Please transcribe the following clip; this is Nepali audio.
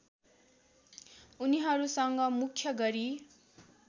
उनीहरूसँग मुख्य गरी